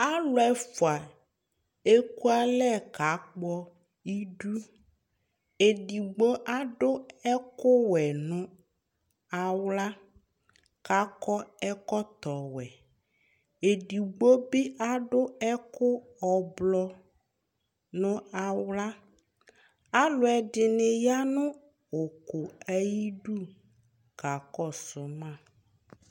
Aalʋ ɛfʋa ekʋalɛ k'akpɔ iɖʋEɖigbo aɖʋ ɛkʋwuɛ nʋ awla k'akɔ ɛkɔtɔ wuɛEɖigbobi aɖʋ ɛkʋ ʋblɔ nʋ awlaAalʋɛɖini yanʋ ʋkʋ ayiɖʋ